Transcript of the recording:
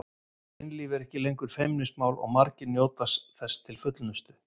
Kynlíf er ekki lengur feimnismál og margir njóta þess til fullnustu.